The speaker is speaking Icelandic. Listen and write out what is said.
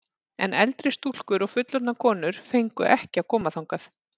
En eldri stúlkur og fullorðnar konur fengu ekki að koma þangað.